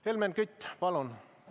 Helmen Kütt, palun!